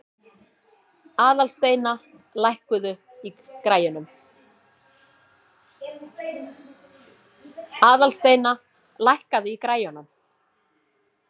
Aðalsteina, lækkaðu í græjunum.